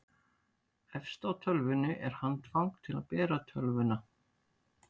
efst á tölvunni var handfang til að bera tölvuna